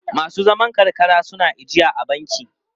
Masu zaman karkara suna ijiya a banki?